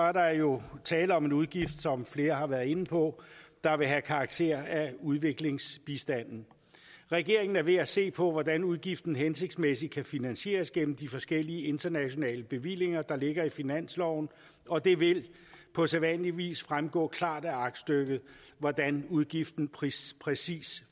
er der jo tale om en udgift som flere har været inde på der vil have karakter af udviklingsbistand regeringen er ved at se på hvordan udgiften hensigtsmæssigt kan finansieres gennem de forskellige internationale bevillinger der ligger i finansloven og det vil på sædvanlig vis fremgå klart af aktstykket hvordan udgiften præcist præcist